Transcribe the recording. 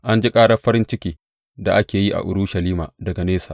An ji ƙarar farin ciki da ake yi a Urushalima daga nesa.